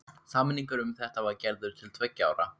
Samningur um þetta var gerður til tveggja ára.